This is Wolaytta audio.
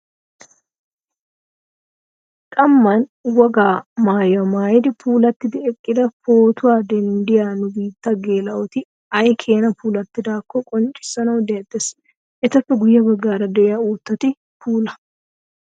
Qamman Wogaa maayuwaa maayidi puulattidi eqqidi footuwaa denddiyaa nubiitta geela'oti ayi keena puulattidaakko qonccissanawu deexxes. Etappe guyye baggaara de'iyaa uuttati puula.